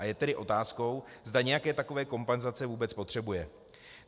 A je tedy otázkou, zda nějaké takové kompenzace vůbec potřebuje.